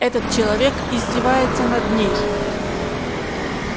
этот человек издевается над ней